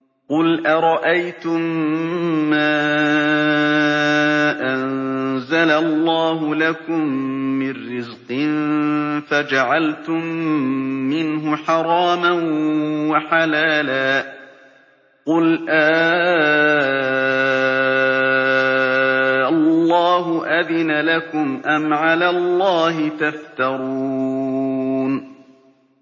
قُلْ أَرَأَيْتُم مَّا أَنزَلَ اللَّهُ لَكُم مِّن رِّزْقٍ فَجَعَلْتُم مِّنْهُ حَرَامًا وَحَلَالًا قُلْ آللَّهُ أَذِنَ لَكُمْ ۖ أَمْ عَلَى اللَّهِ تَفْتَرُونَ